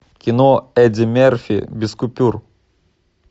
кино эдди мерфи без купюр